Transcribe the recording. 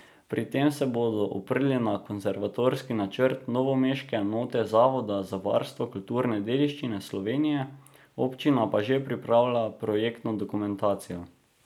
Pri tem se bodo oprli na konservatorski načrt novomeške enote Zavoda za varstvo kulturne dediščine Slovenije, občina pa že pripravlja projektno dokumentacijo.